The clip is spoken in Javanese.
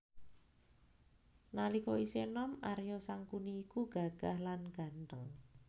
Nalika isih enom Arya Sangkuni iku gagah lan gantheng